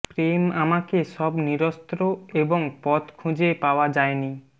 প্রেম আমাকে সব নিরস্ত্র এবং পথ খুঁজে পাওয়া যায় নি